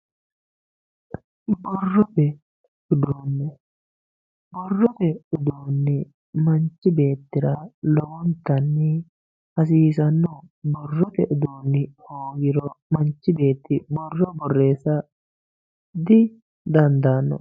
borrote uduunne borrote uduunni manchi beettira lowontanni hasiisannoho borrote uduunn hoogiro manchi beetti borro borreessa didandaanno